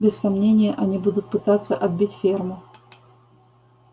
без сомнения они будут пытаться отбить ферму